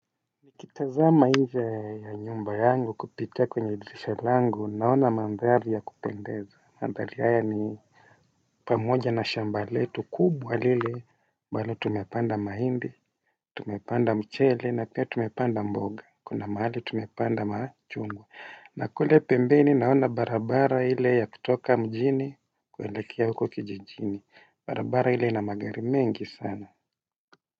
Nikitazama nje ya nyumba yangu kupitia kwenye dirisha langu naona mandhari ya kupendeza mandhari haya ni pamoja na shamba letu kubwa lile ambalo tumepanda mahindi tumepanda mchele na pia tumepanda mboga kuna mahali tumepanda machungwa. Na kule pembeni naona barabara ile ya kutoka mjini kuelekea huko kijijini barabara ile ina magari mengi sana.